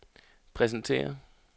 præsenterer